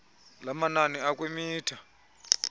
lamanani akwi mitha